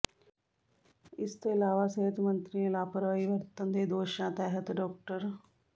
ਇਸ ਤੋਂ ਇਲਾਵਾ ਸਿਹਤ ਮੰਤਰੀ ਨੇ ਲਾਪਰਵਾਹੀ ਵਰਤਣ ਦੇ ਦੋਸ਼ਾਂ ਤਹਿਤ ਡਾ